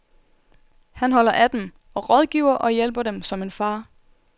Han holder af dem, og rådgiver og hjælper dem som en far.